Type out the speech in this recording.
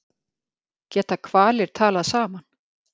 Geta hvalir talað saman?